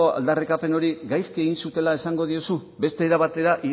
aldarrikapen hori gaizki egin zutela esango diozu beste era batera